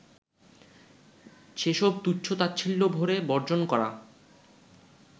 সেসব তুচ্ছ-তাচ্ছিল্যভরে বর্জন করা